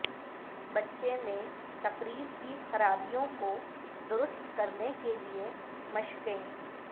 بچے میں تقریر کی خرابیوں کو درست کرنے کے لئے مشقیں